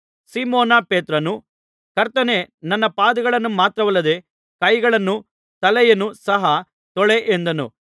ಸೀಮೋನ ಪೇತ್ರನು ಕರ್ತನೇ ನನ್ನ ಪಾದಗಳನ್ನು ಮಾತ್ರವಲ್ಲದೆ ಕೈಗಳನ್ನೂ ತಲೆಯನ್ನೂ ಸಹ ತೊಳೆ ಎಂದನು